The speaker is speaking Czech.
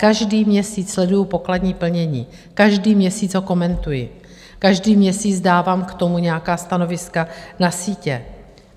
Každý měsíc sleduji pokladní plnění, každý měsíc ho komentuji, každý měsíc dávám k tomu nějaká stanoviska na sítě.